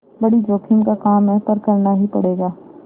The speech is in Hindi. बड़ी जोखिम का काम है पर करना ही पड़ेगा